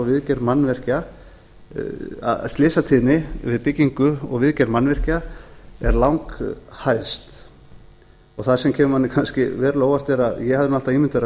í ljós að slysatíðni við byggingu og viðgerð mannvirkja er langhæst það sem kemur manni kannski verulega á óvart er að ég hafði alltaf